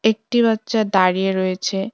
একটি বাচ্চা দাঁড়িয়ে রয়েছে।